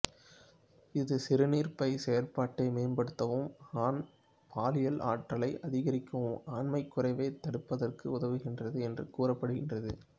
இது சிறுநீர்ப்பை செயற்பாட்டை மேம்படுத்தவும் ஆண் பாலியல் ஆற்றலை அதிகரிக்கவும் ஆண்மை குறைவைத் தடுப்பதற்கும் உதவுகின்றது என்று கூறப்படுகின்றது